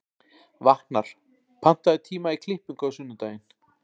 Vatnar, pantaðu tíma í klippingu á sunnudaginn.